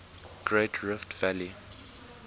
great rift valley